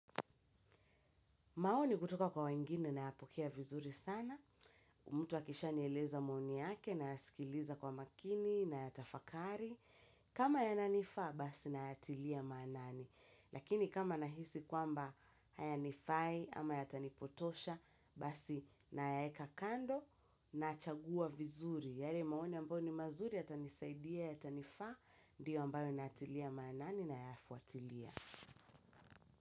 Maoni kutoka kwa wengine nayapokea vizuri sana. Mtu akisha nieleza maoni yake nayasikiliza kwa makini nayatafakari. Kama yananifaa basi nayaatilia maanani. Lakini kama nahisi kwamba haya nifai ama yatanipotosha basi nayaeka kando nachagua vizuri. Yani maoni ambayo ni mazuri yatanisaidia yatanifaa ndiyo ambayo natilia maanani nayafuatilia.